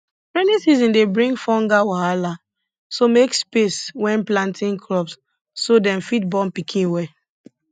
rainy season dey bring fungal wahala so make space wen planting crops so dem fit born pikin well